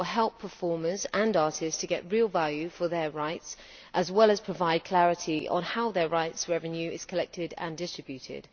it will help performers and artists to get real value for their rights, as well as provide clarity on how their rights revenue is collected and distributed.